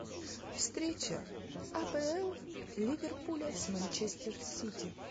встреча апл ливерпуля с манчестер сити